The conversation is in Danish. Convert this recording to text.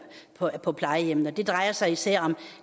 på plejehjemmene og det drejer sig især om